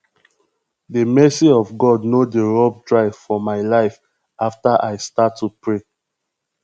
the mercy of god no dey rub dry for my life after i start to pray